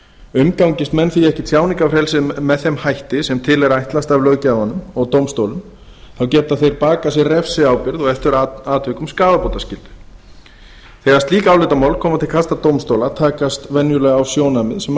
umgangist menn því ekki tjáningarfrelsið með þeim hætti sem til er ætlast af löggjafanum og dómstólum geta þeir bakað sér refsiábyrgð og eftir atvikum skaðabótaskyldu þegar slík álitamál koma til kasta dómstóla takast venjulega á sjónarmið sem